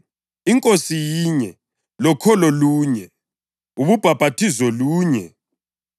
iNkosi yinye, lokholo lunye, ubhaphathizo lunye;